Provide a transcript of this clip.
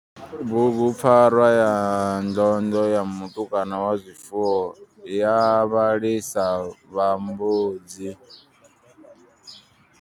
Bugupfarwa ya ndondlo ya mutukana wa zwifuwo ya vhalisa vha mbudzi.